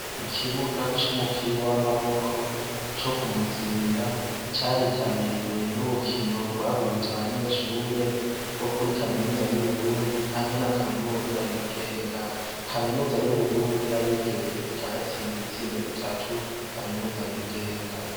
Iki bugs c’unupira w’amaboko ,co kumuzinda ,caritabiriwe n’urukino gwahuza abanyeshure bo kuri kaminuza y’Uburundi hamwe na kaminuza yigenga. Kaminiza y’Uburundi y’abigeme ikaba yatsinze ibitsindo bitatu kaminuza yigenga.